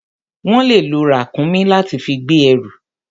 Wọ́n le lo ràkúnmí láti fi gbé ẹrù.